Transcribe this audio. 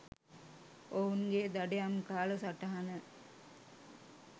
ඔවුන්ගේ දඩයම් කාල සටහන